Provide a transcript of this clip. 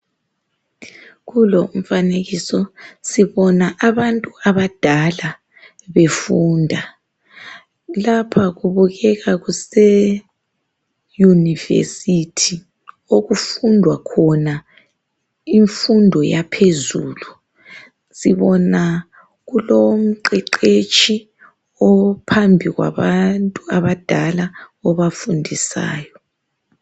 Kulo umfanekiso sibona abantu abadala befunda. Lapha kubukeka kuseyunivesuthi okufundwa khona imfundo yaphezulu. Sibona lapha kulomqeqetshi ophambi kwabantu abadala obafundisayo.